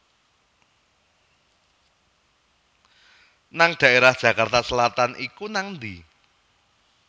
nang daerah Jakarta Selatan iku nang endi?